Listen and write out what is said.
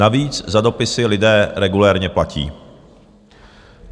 Navíc za dopisy lidé regulérně platí.